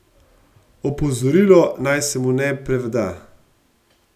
Opozorilo, naj se mu ne preda.